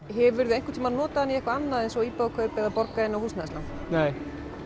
hefurðu einhvern tímann notað hann í eitthvað annað eins og íbúðakaup eða borga inn á húsnæðislán nei